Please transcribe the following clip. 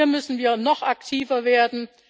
Hier müssen wir noch aktiver werden.